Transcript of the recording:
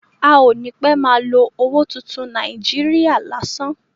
A ò ní pẹ́ má a lo owó tuntun Nàíjíríà lásán.